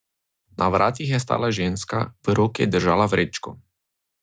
Na vratih je stala ženska, v roki je držala vrečko.